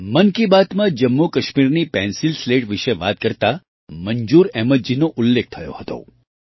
મન કી બાતમાં જમ્મુકાશ્મીરની પેન્સિલ સ્લેટના વિશે વાત કરતા મંજૂર અહમદજીનો ઉલ્લેખ થયો હતો